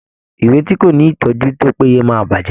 Ìwé tí kò ní ìtọ́jú tó péye máa bàjẹ́.